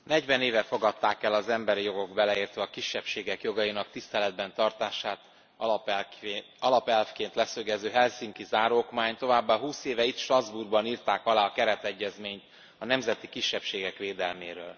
Elnök Úr, negyven éve fogadták el az emberi jogok, beleértve a kisebbségek jogainak tiszteletben tartását alapelvként leszögező Helsinki Záróokmányt, továbbá húsz éve itt Strasbourgban írták alá a Keretegyezményt a Nemzeti Kisebbségek Védelméről.